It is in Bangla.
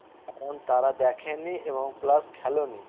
তারা দেখেনি এবং plus খেলেও নি